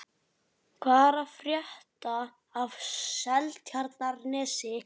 Hvað er að frétta af Seltjarnarnesi?